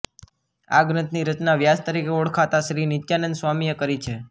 આ ગ્રંથની રચના વ્યાસ તરીકે ઓળખાતા શ્રી નિત્યાનંદ સ્વામી એ કરી છે